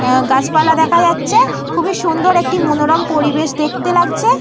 আ গাছপালা দেখা যাচ্ছে। খুবই সুন্দর একটি মনোরম পরিবেশ দেখতে লাগছে।